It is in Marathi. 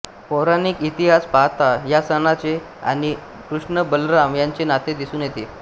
पौराणिक इतिहास पाहता या सणाचे आणि कृष्णबलराम यांचे नाते दिसून येते